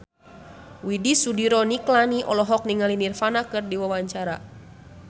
Widy Soediro Nichlany olohok ningali Nirvana keur diwawancara